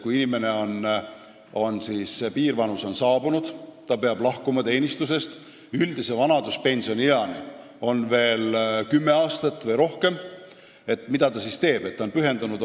Kui inimesel on piirvanus saabunud ja ta peab teenistusest lahkuma, aga üldise vanaduspensionieani on veel kümme aastat või rohkem, mida ta siis teeb?